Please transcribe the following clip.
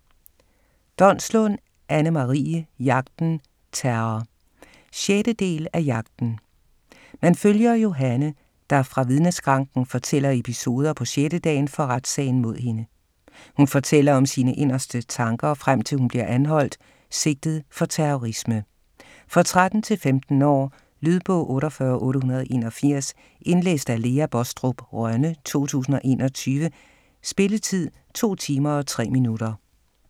Donslund, Anne-Marie: Jagten - terror 6. del af Jagten. Man følger Johanne, der fra vidneskranken fortæller episoder på 6. dagen for retssagen mod hende. Hun fortæller om sine inderste tanker, frem til hun bliver anholdt, sigtet for terrorisme. For 13-15 år. Lydbog 48881 Indlæst af Lea Baastrup Rønne, 2021. Spilletid: 2 timer, 3 minutter.